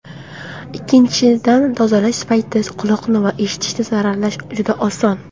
Ikkinchidan, tozalash paytida quloqni va eshitishni zararlash juda oson.